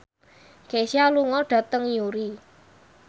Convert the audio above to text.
Kesha lunga dhateng Newry